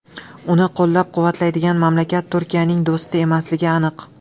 Uni qo‘llab-quvvatlaydigan mamlakat Turkiyaning do‘sti emasligi aniq.